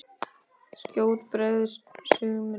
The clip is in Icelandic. Skjótt bregður sumri.